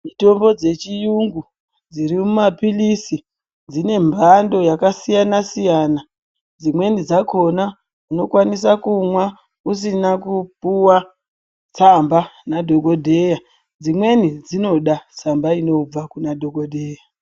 Mitombo dzechiyungu dziri mumapilisi dzine mbando yakasiyana siyana. Dzimweni dzakona unokwanisa kumwa usina kupuwa tsamba nadhokodheya. Dzimweni dzinoda tsamba inobva kuna dhokodheya.